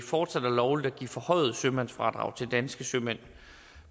fortsat er lovligt at give forhøjet sømandsfradrag til danske sømænd